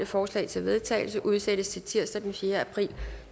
forslag til vedtagelse udsættes til tirsdag den fjerde april